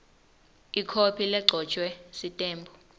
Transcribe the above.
ikhophi legcotjwe sitembu